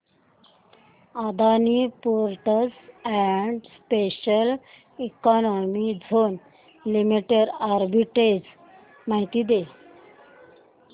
Adani ports and special economic zone limited arbitrage माहिती दे